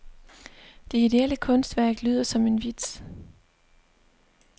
Det ideelle kunstværk lyder som en vits.